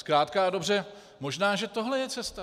Zkrátka a dobře, možná že tohle je cesta.